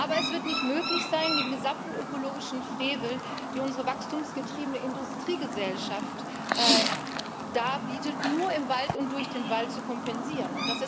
Aber es wird nicht möglich sein, den gesamten ökologischen Frevel, den unsere wachstumsgetriebene Industriegesellschaft begeht, nur im Wald und durch den Wald zu kompensieren.